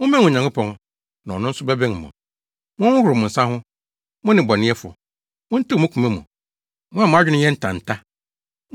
Mommɛn Onyankopɔn, na ɔno nso bɛbɛn mo. Monhohoro mo nsa ho, mo nnebɔneyɛfo! Montew mo koma mu, mo a mo adwene yɛ ntanta!